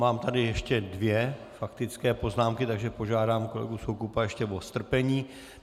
Mám tady ještě dvě faktické poznámky, takže požádám kolegu Soukupa ještě o strpení.